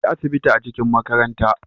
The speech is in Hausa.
akwai asibiti a cikin makaranta